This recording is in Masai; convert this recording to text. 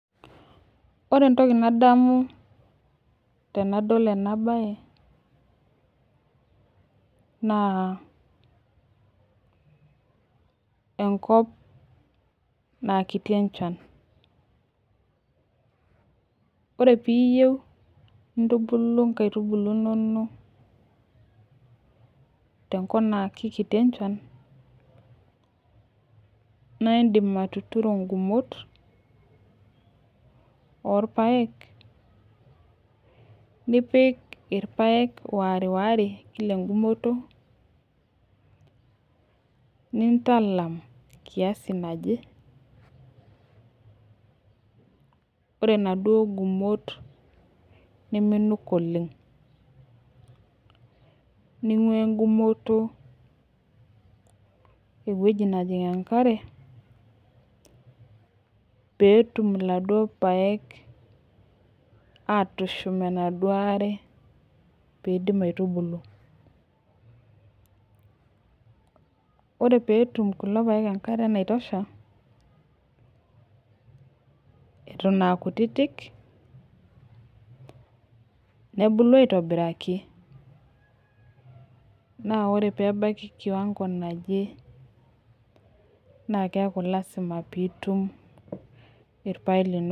Ore entoki nadamu tenadol ena bae, naa enkop naa kiti enchan. ore piiyieu. nintubulu nkaitubulu inonok te nkop naa kikiti enchan, naaidim atuturo ngumot oorpaek. nipik irpaek wariwaree Kila egumoto. nintalam, kiasi naje, ore inaduoo gumot niminuk oleng. ninguaa egumotk ewueji, najing enkare, peetum iladuoo paek, aatushum enaduoo are pee idim aitubulu. ore peetum kulo paek enkare naitosha Eton aa kutitik, nebulu aitobiraki. naa ore pee ebaiki kiwango naje naa keeku lasima piittum irpaek linonok.